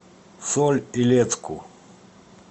соль илецку